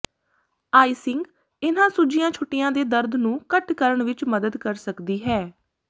ਆਈਿੰਗ ਇਹਨਾਂ ਸੁੱਜੀਆਂ ਛੁੱਟੀਆਂ ਦੇ ਦਰਦ ਨੂੰ ਘੱਟ ਕਰਨ ਵਿੱਚ ਮਦਦ ਕਰ ਸਕਦੀ ਹੈ